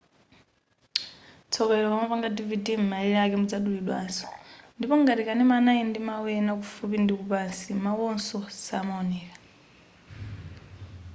tsoka ilo ukamapanga dvd m'malire ake muzadulidwaso ndipo ngati kanema anali ndi mau ena kufupi ndikupansi mauwonso samaoneka